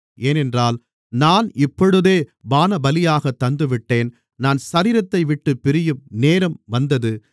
ஏனென்றால் நான் இப்பொழுதே பானபலியாகத் தந்துவிட்டேன் நான் சரீரத்தைவிட்டுப் பிரியும் நேரம் வந்தது